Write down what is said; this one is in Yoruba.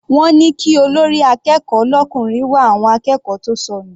Wọ́n ní kí olórí akẹ́kọ̀ọ́ l'ọkùnrin wá àwọn akẹ́kọ̀ọ́ tó sọnù.